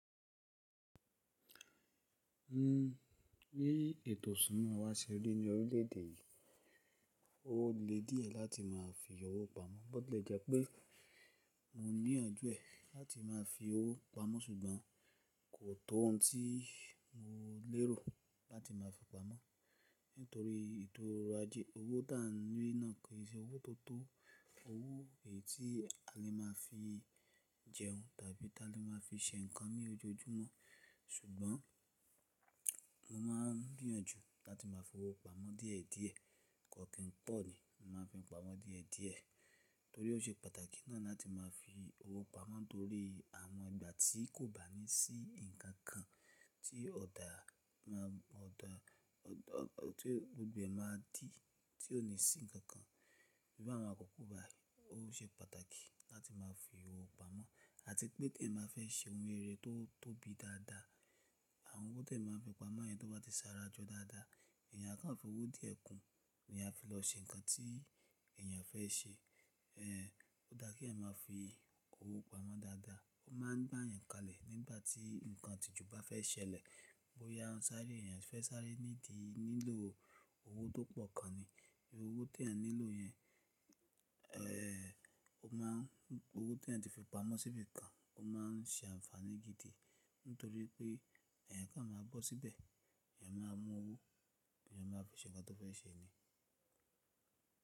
Nnu, bí ètò ìṣúná wa se rí ní orílẹ̀ èdè yìí, ó le díẹ̀ láti má a fi owó pamọ́. Bọ́ tilẹ̀ jẹ pé mo ní àjúẹ̀ láti má a fi owó pamọ́ ṣùgbọ́n kò tó ohun tí mo lérò láti má a fi pamọ́. Nítorí ìtura ajé, owó tá a ní náà kì í ṣe owó tó tó, owó èyí tí a lè má a fi jẹun tàbí tí a lè má a fi ṣe nǹkan ní ojoojúmọ́. Ṣùgbọ́n mo má a ń gbìyànjú láti má a fi owó pamọ́ díẹ̀ díẹ̀, kò kí n pọ̀ ni, mo má a fi pamọ́ díẹ̀ díẹ̀. Nítorí ó ṣe pàtàkì náà láti má a fi owó pamọ́ torí àwọn ìgbà tí kò bá ní sí ǹkan kan tí ọ̀dà má a, ọ̀dà, ọ̀dà, ọ̀tí gbogbo ẹ̀ má a dì tí ò ní sí ǹkan kan. Bí i àwọn àkókò báyìí, ó ṣe pàtàkì láti má a fi owó pamọ́. Àti pé tí èèyàn bá fẹ́ ṣe oun rere tó tóbi dádá àwọn owó tí èèyàn máa ń fi pamọ́ yẹn, tó bá ti sa ara jọ dádá èèyàn á kó fi owó díẹ̀ kún èèyàn á fi lọ ṣe nǹkan tí èèyàn fẹ́ ṣe ẹ̀ẹ́ ó dá kí ẹ̀èyàn má a fi owó pamọ́ dáadáa. Ó má ń gbá èèyàn kalẹ̀ nígbà tí nǹkan ìtìjú bá fẹ́ ṣẹlẹ̀. Bó ya ṣáré, èèyàn fẹ́ sáré nídi, nílò owó tó pọ̀ kan ni. Owó tí ẹ̀èyàn nílò yẹn, ẹ̀ ẹ́ ó má ń, owó tí ẹ̀èyàn ti fi pamọ́ síbi kan, ó má ń ṣe àǹfààní gidi nítorí pé ẹ̀ẹ̀yàn kàn á má a bọ́ síbẹ̀, ẹ̀ẹ̀yàn máa á mú owó, èèyàn má a fi ṣe nǹkan tó fẹ́ ṣe ni.